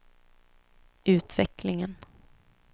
utvecklingen